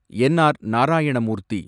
என். R. Narayana மூர்த்தி